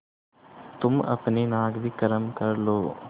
तुम अपनी नाक भी गरम कर लो